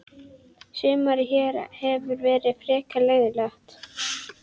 Sumarið hér hefur verið frekar leiðinlegt.